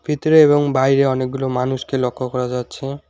ভিতরে এবং বাইরে অনেকগুলো মানুষকে লক্ষ্য করা যাচ্ছে।